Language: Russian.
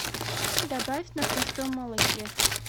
добавь на простом молоке